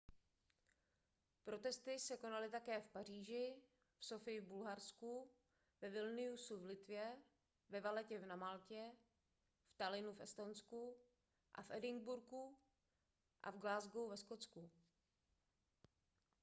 protesty se konaly také v paříži v sofii v bulharsku ve vilniusu v litvě ve valettě na maltě v tallinnu v estonsku a v edinburghu a v glasgow ve skotsku